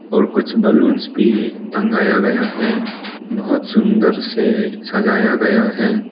और कुछ बलूंस भी टंगाया गया है बहुत सुंदर से सजाया गया है।